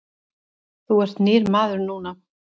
Þú ert nýr maður núna.